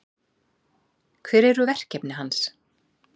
Hver eru verkefni hans?